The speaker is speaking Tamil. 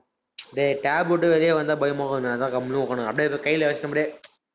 டேய் tab விட்டு வெளிய வந்தா பயமா இருக்குனு. அதான் கம்முனு உட்காரணும். அப்படியே கையில வச்சப்படியே